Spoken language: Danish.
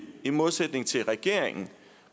i modsætning til regeringen